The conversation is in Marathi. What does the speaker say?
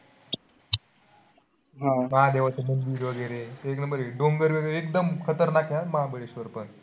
आह महादेवाचं मंदिर वगैरे. ते एक number आहे. डोंगर एकदम खतरनाक आहे महाबळेश्वर पण.